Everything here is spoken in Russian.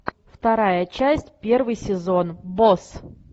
вторая часть первый сезон босс